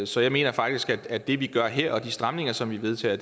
så jeg mener faktisk at det vi gør her og de stramninger som vi vedtager